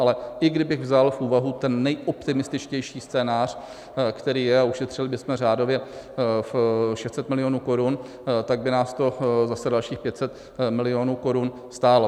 Ale i kdybych vzal v úvahu ten nejoptimističtější scénář, který je, a ušetřili bychom řádově 600 milionů korun, tak by nás to zase dalších 500 milionů korun stálo.